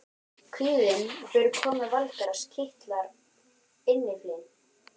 Kvíðinn fyrir komu Valgarðs kitlar innyflin.